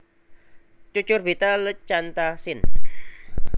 Cucurbita leucantha sin